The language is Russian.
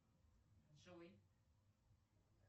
джой